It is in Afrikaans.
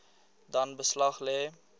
dan beslag lê